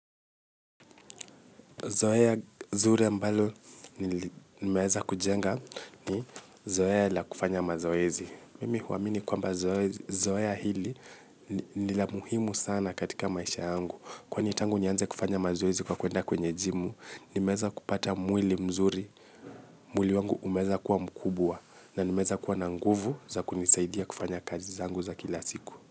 Zoeya zure ambalo nimeeza kujenga ni zoea la kufanya mazoezi. Mimi huamini kwamba zoea hili ni la muhimu sana katika maisha yangu. Kwani tangu nianze kufanya mazoezi kwa kuenda kwenye jimu, nimeeza kupata mwili mzuri. Mwili wangu umeeza kuwa mkubwa na nimeeza kuwa na nguvu za kunisaidia kufanya kazi zangu za kila siku.